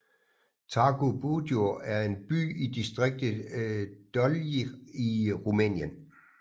Târgu Bujor er en by i distriktet Dolj i Rumænien